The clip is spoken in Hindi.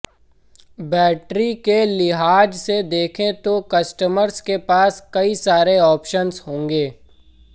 बैटरी के लिहाज से देखें तो कस्टमर्स के पास कई सारे ऑप्शन्स होंगे